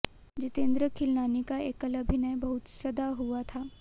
जितेंद्र खिलनानी का एकल अभिनय बहुत सधा हुआ था